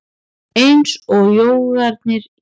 Eins og jógarnir í